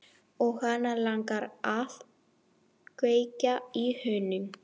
Og hana langar að kveikja í honum.